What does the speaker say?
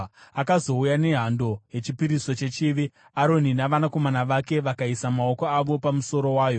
Akazouya nehando yechipiriso chechivi, Aroni navanakomana vake vakaisa maoko avo pamusoro wayo.